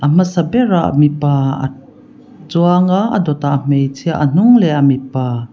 a hmasa berah mipa a chuang a a dawtah hmeichhia a hnung lehah mipa.